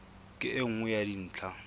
ke e nngwe ya dintlha